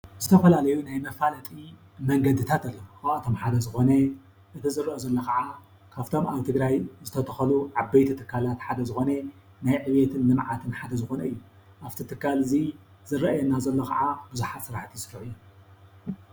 ዝተፈላለዩ ናይ መፋለጥቲ መንገድታት ኣለዉ፡፡ ከም ሓደ ዝኾነ እቲ ዝርአ ዘሎ ከዓ ካብቶም ኣብ ትግራይ ዓበይቲ ትካላት ሓደ ዝኾነ ናይ ዕብየትን ልምዓትን ሓደ ዝኾነ እዩ፡፡ ኣብቲ ትካል እዚ ዝርአየና ዘሎ ከዓ ብዙሓት ስራሕቲ ዝስርሕሉ እዩ።